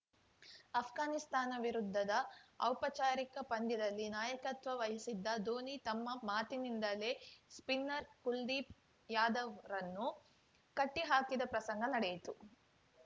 ಆಷ್ಘಾನಿಸ್ತಾನ ವಿರುದ್ಧದ ಔಪಚಾರಿಕ ಪಂದ್ಯದಲ್ಲಿ ನಾಯಕತ್ವ ವಹಿಸಿದ್ದ ಧೋನಿ ತಮ್ಮ ಮಾತಿನಿಂದಲೇ ಸ್ಪಿನ್ನರ್‌ ಕುಲ್ದೀಪ್‌ ಯಾದವ್‌ರನ್ನು ಕಟ್ಟಿಹಾಕಿದ ಪ್ರಸಂಗ ನಡೆಯಿತು